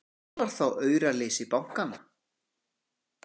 Hvar var þá auraleysi bankanna!